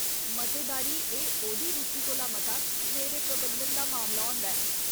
मते बारी एह् ओह्दी रुचि कोला मता मेरे प्रबंधन दा मामला होंदा हा।